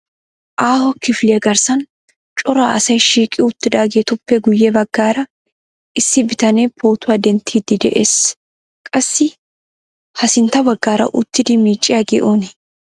Aaho kifiliya garssan cora asay shiiqi uttidaageetuppe guye baggara issi bitanee pootuwa denttiidi de'ees. Qassi ha sinttaa baggara uttidi miicciyaagee oonee?